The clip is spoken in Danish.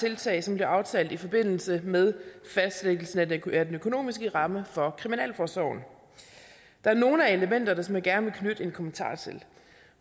tiltag som blev aftalt i forbindelse med fastlæggelsen af den økonomiske ramme for kriminalforsorgen der er nogle af elementerne som jeg gerne vil knytte en kommentar til